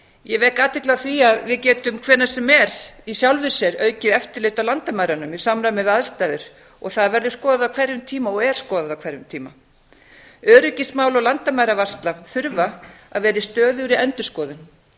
ég vek athygli á því að við getum hvenær sem er í sjálfu sér aukið eftirlit á landamærunum í samræmi við aðstæður og það verður skoðað á hverjum tíma og er skoðað á hverjum tíma öryggismál og landamæravarsla þurfa að vera í stöðugri endurskoðun